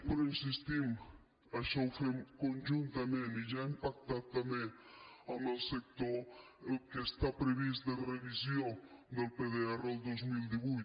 però hi insistim això ho fem conjuntament i ja hem pactat també amb el sector el que està previst de revisió del pdr al dos mil divuit